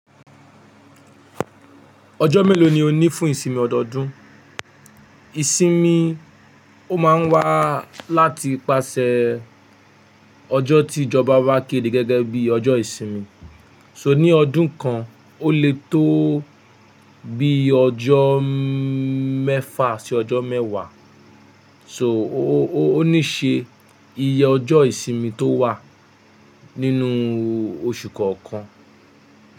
Ọjọ́ mélòó ni ó ní fún ìsinmi ọdọọdún? Ìsinmi ó máa ń wá láti ipasẹ̀ ọjọ́ tí ìjọba bá kéde gẹ́gẹ́ bí i ọjọ́ ìsinmi, so ní ọdún kan ó lè tó bí i ọjọ́ mẹ́fa sí ọjọ́ mẹ́wàá. So ó ní ṣe iye ọjọ́ ìsinmi tó wà nínú oṣù kọ̀ọ̀kan.